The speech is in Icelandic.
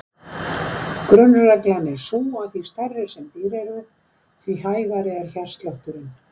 Grunnreglan er sú að því stærri sem dýr eru því hægari er hjartslátturinn.